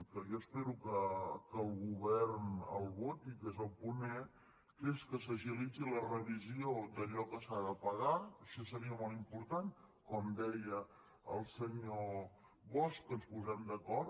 que jo espero que el govern el voti que és el punt e zi la revisió d’allò que s’ha de pagar això seria molt important com deia el senyor bosch que ens posem d’acord